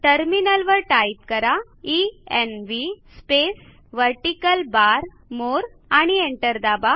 टर्मिनलवर टाईप करा env space vertical bar more आणि एंटर दाबा